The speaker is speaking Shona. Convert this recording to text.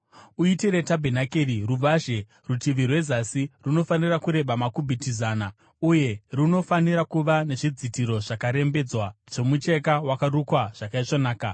“Uitire tabhenakeri ruvazhe. Rutivi rwezasi runofanira kureba makubhiti zana uye runofanira kuva nezvidzitiro zvakarembedzwa zvomucheka wakarukwa zvakaisvonaka,